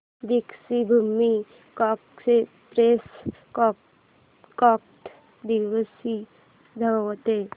Deekshabhoomi express कोणत्या दिवशी धावते